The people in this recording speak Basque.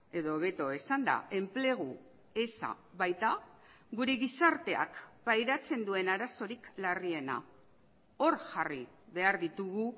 edo hobeto esanda enplegu eza baita gure gizarteak pairatzen duen arazorik larriena hor jarri behar ditugu